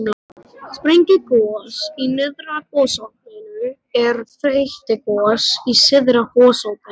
Sprengigos í nyrðra gosopinu en þeytigos í syðra gosopinu.